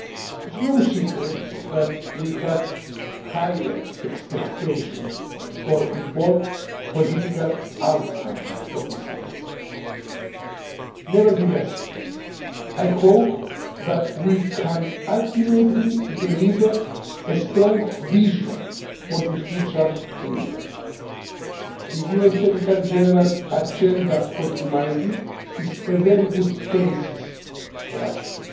It is no secret that we had higher expectations for bold political outcomes from the Summit. Nevertheless, I hope that we can ultimately deliver a strong vision for the future in Istanbul. The UN Secretary General's Agenda for Humanity' is a very good basis for action.